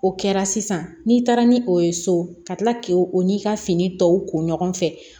O kɛra sisan n'i taara ni o ye so ka tila k'o o n'i ka fini tɔw ko ɲɔgɔn fɛ